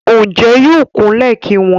Ǹjẹ́ yóò kú lẹ̀ ki wọn?